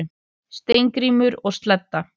Steingrímur og Sledda,